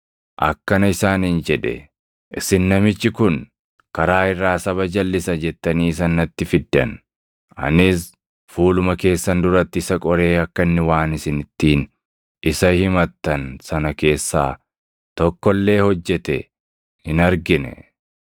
akkana isaaniin jedhe; “Isin namichi kun, ‘karaa irraa saba jalʼisa’ jettanii isa natti fiddan; anis fuuluma keessan duratti isa qoree akka inni waan isin ittiin isa himattan sana keessaa tokko illee hojjete hin argine.